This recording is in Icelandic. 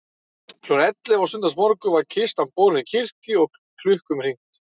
Klukkan ellefu á sunnudagsmorgun var kistan borin í kirkju og klukkum hringt.